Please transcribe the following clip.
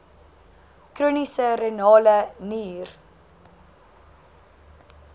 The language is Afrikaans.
chroniese renale nier